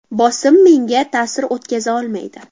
Bosim menga ta’sir o‘tkaza olmaydi.